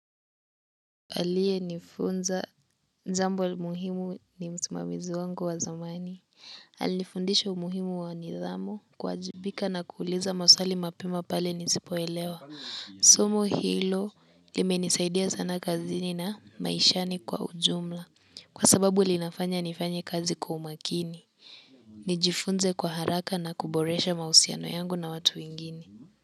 Aliyenifunza jambo muhimu ni msimamizi wangu wa zamani. Alinifundisha umuhimu wa nidhamu kuwajibika na kuuliza maswali mapema pale nisipoelewa. Somo hilo limenisaidia sana kazini na maishani kwa ujumla kwa sababu linafanya nifanye kazi kwa umakini. Nijifunze kwa haraka na kuboresha mahusiano yangu na watu wengine.